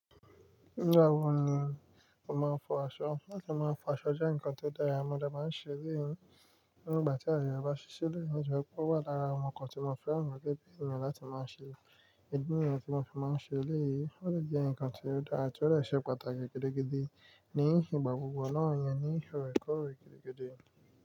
Nígbà wo ni o máa ń fọ aṣọ? Láti máa fọ aṣọ jẹ́ nǹkan tó dára, mo de maa ń ṣe eleyii ní ìgbà tí ààyè rẹ̀ bá ṣí sílẹ̀ nítorí pé ó wà lára àwọn nǹkan tí mo fẹ́ràn gẹ́gẹ́ bí ènìyàn láti máa ṣe. Ìdí nìyẹn tí mo fi máa ń ṣe eléyìí, ó sì jẹ́ nǹkan tí ó dára àti ó lè ṣe pàtàkì gidigidi ní ìgbà gbogbo náà yẹn, ní ìróyìn kúrò gidigidi.